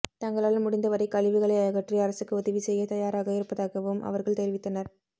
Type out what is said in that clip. தங்களால் முடிந்த வரை கழிவுகளை அகற்றி அரசுக்கு உதவி செய்ய தயாராக இருப்பதாக வும் அவர்கள் தெரிவித்தனர்